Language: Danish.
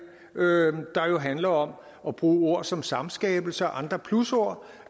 der jo handler om at bruge ord som samskabelse og andre plusord